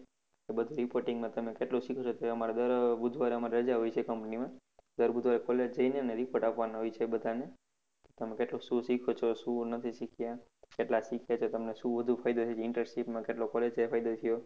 એ બધુ reporting માં તમે કેટલું શીખો છો એ અમારે દર બુધવારે અમારે રજા હોય છે company માં દર બુધવારે college જઈને report આપવાનો હોય છે બધા ને તમે કેટલું શું શીખો છો કશું શું નથી શીખીયા કેટલા શીખે છે તમે શું ફાયદો થયો internship માં કેટલો ગેરફાયદો થયો